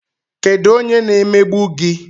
Kedụ onye na-emegbu gi?